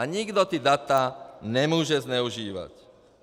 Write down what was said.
A nikdo ta data nemůže zneužívat.